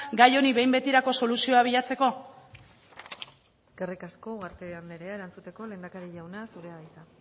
gai honi behin betirako soluzioa bilatzeko eskerrik asko ugarte andrea erantzuteko lehendakari jauna zurea da hitza